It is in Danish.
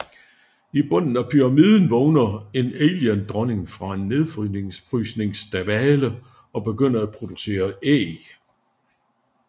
I bunden af pyramiden vågner en Aliendronning fra en nedfrysningsdvale og begynder at producere æg